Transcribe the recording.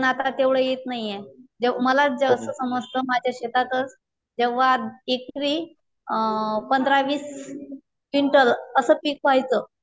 जओ मला जास्त समजत माझ्या शेतातच जेव्हा एकरी अ पंधरा वीस क्विंटल असं पीक व्हायचं.